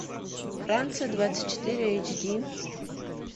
франция двадцать четыре эйчди